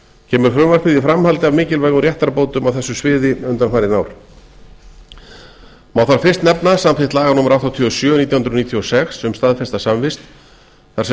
kemur frumvarpið í framhaldi af mikilvægum réttarbótum á þessu sviði undanfarin ár má þar fyrst nefna samþykkt laga númer áttatíu og sjö nítján hundruð níutíu og sex um staðfesta samvist þar sem